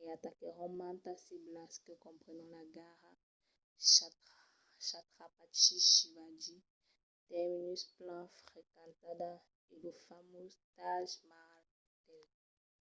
e ataquèron mantas ciblas que comprenon la gara chhatrapati shivaji terminus plan frequentada e lo famós taj mahal hotel